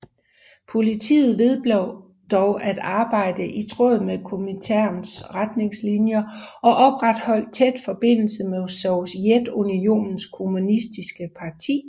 Partiet vedblev dog at arbejde i tråd med Kominterns retningslinjer og opretholdet tæt forbindelse med Sovjetunionens kommunistiske parti